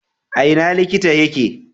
A ina likita yake?